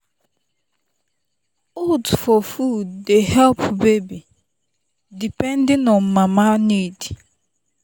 oats for food dey help baby depending on mama need.